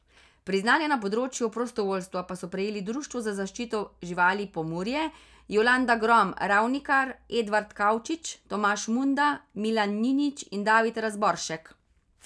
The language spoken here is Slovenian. Priznanja na področju prostovoljstva pa so prejeli Društvo za zaščito živali Pomurje, Jolanda Grom Ravnikar, Edvard Kavčič, Tomaž Munda, Milan Ninić in David Razboršek.